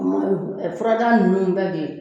Furadaa ninnu bɛɛ bi